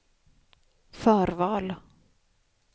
förval